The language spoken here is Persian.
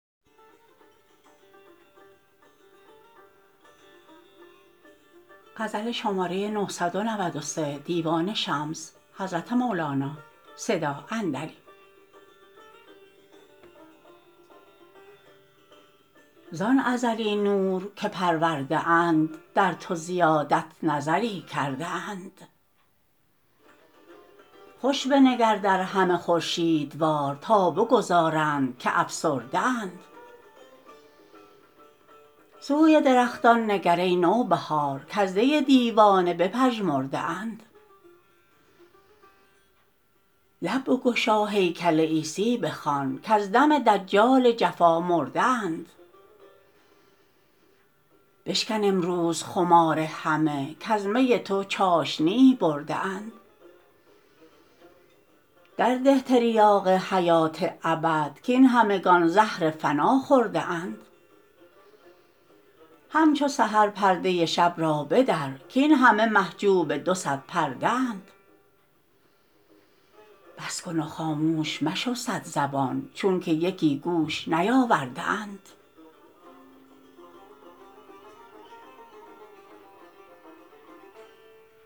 زان ازلی نور که پرورده اند در تو زیادت نظری کرده اند خوش بنگر در همه خورشیدوار تا بگدازند که افسرده اند سوی درختان نگر ای نوبهار کز دی دیوانه بپژمرده اند لب بگشا هیکل عیسی بخوان کز دم دجال جفا مرده اند بشکن امروز خمار همه کز می تو چاشنیی برده اند درده تریاق حیات ابد کاین همگان زهر فنا خورده اند همچو سحر پرده شب را بدر کاین همه محجوب دو صد پرده اند بس کن و خاموش مشو صدزبان چونک یکی گوش نیاورده اند